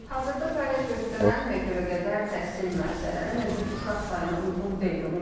Hazırda fəaliyyət göstərən məktəbə qədər təhsil müəssisələri mövcud uşaq sayına uyğun deyil,